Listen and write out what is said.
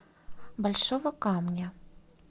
большого камня